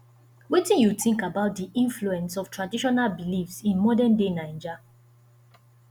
wetin you think about di influence of traditional beliefs in modernday naija